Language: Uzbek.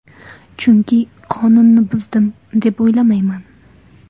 Chunki qonunni buzdim, deb o‘ylamayman.